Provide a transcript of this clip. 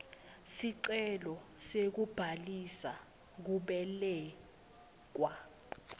sicelo sekubhalisa kubelekwa